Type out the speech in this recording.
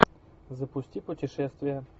запусти путешествия